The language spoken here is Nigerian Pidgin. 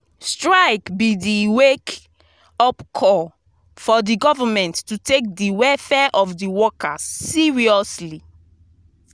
strike be di wake-up call for di government to take di welfare of di workers seriously.